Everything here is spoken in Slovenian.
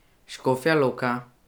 Škofja Loka.